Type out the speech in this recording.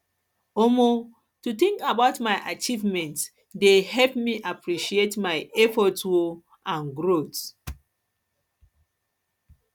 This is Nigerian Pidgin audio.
um to think about my achievements dey help me appreciate my efforts um and growth